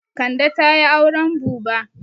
Kande ta yi auren buba.